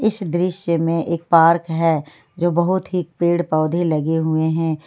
इस दृश्य में एक पार्क है जो बहुत ही पेड़ पौधे लगे हुए हैं।